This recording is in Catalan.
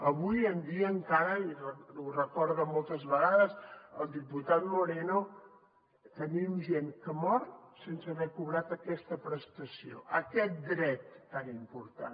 avui en dia encara i ho recorda moltes vegades el diputat moreno tenim gent que mor sense haver cobrat aquesta prestació aquest dret tan important